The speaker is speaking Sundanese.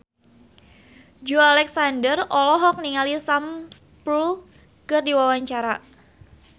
Joey Alexander olohok ningali Sam Spruell keur diwawancara